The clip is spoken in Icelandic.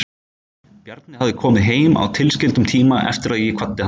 Bjarni hafði komið heim á tilskildum tíma eftir að ég kvaddi hann.